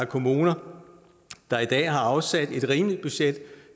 kommuner der i dag har afsat et rimeligt budget